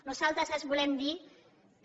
nosaltres els volem dir que